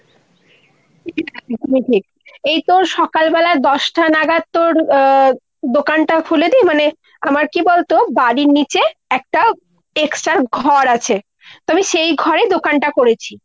ঠিক ঠিক। এই তোর সকালবেলা দশটা নাগাদ তোর আহ দোকানটা খুলে দি, মানে আমার কি বলতো বাড়ির নিচে একটা extra ঘর আছে। তো আমি সেই ঘরেই দোকানটা করেছি।